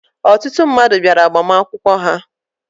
Ọtụtụ mmadụ bịara agbamakwụkwọ ha.